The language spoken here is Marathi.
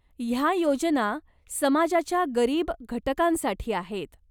ह्या योजना समाजाच्या गरीब घटकांसाठी आहेत.